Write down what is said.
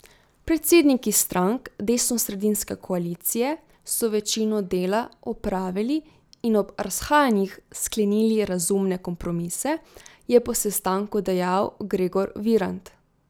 Predsedniki strank desnosredinske koalicije so večino dela opravili in ob razhajanjih sklenili razumne kompromise, je po sestanku dejal Gregor Virant.